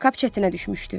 Kap çətinə düşmüşdü.